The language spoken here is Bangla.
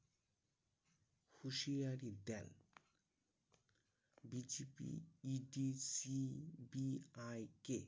হুঁশিয়ারি দেন BJPEDCBI কে